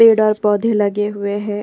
पेड़ और पौधे लगे हुए है।